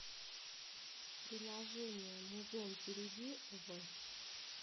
приложение музон перейди в